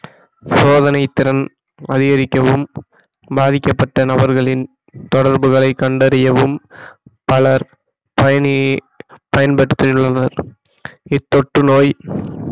சோதனைத்திறன் அதிகரிக்கவும் பாதிக்கப்பட்ட நபர்களின் தொடர்புகளை கண்டறியவும் பலர் பயணியை பயன்படுத்தியுள்ளனர் இத்தொற்று நோய்